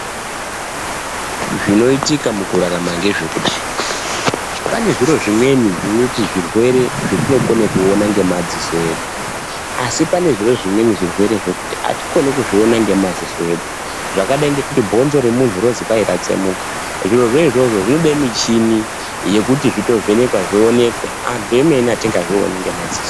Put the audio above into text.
Zvinoitika mukurarama ngezvekudai pane zviro zvimweni zvinoti zvirwere zvatinokone kuona ngemadziso edu asi panezve zvimweni zvirwere zvekuti atikoni kuzviona ngemadziso edu zvakadai ngekuti bhonzo remunthu rozi kwai ratsemuka zviro izvozvo zvinode michini yekuti zvitovhenekwa zvionekwe anthu emene atingazvioni nemaziso.